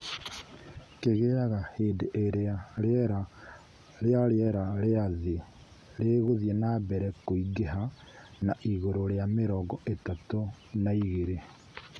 Kĩgĩaga hĩndĩ ĩrĩa rĩera rĩa rĩera rĩa thĩ rĩgũthiĩ na mbere kũingĩha na igũrũ rĩa mĩrongo ĩtatũ na igĩrĩ.